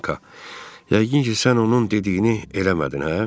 Yəqin ki, sən onun dediyini eləmədin, hə?